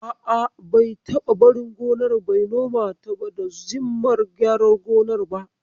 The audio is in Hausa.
A'a, bai taba barin gona bai nomata ba da zimmar gyaran gonar ba.